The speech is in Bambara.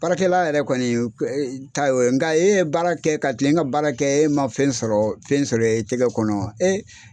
Baarakɛla yɛrɛ kɔni ta ye, nka e ye baara kɛ ka tilen ka baara kɛ e ma fɛn sɔrɔ fɛn sɔrɔ i tɛgɛ kɔnɔ